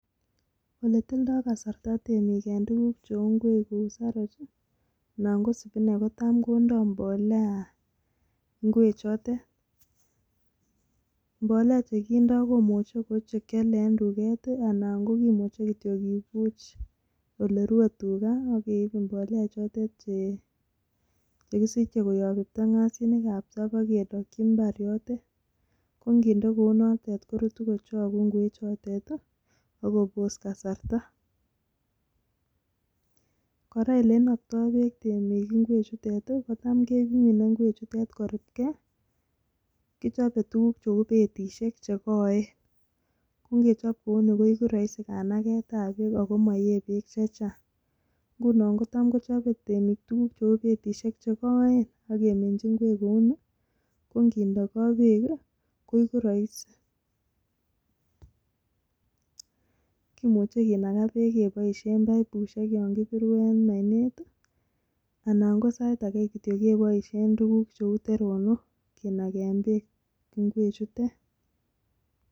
Oletomdai. kasarta kouu ngweek cheuuu saratyeeek kendaiii ngweek cheuuuuu ketureeek ap.tuga tap. keminee ngwechuuu kotete keeeee kichopee betit nekoiii. nea AK kemuchiii kinaga ngwechuuu peeek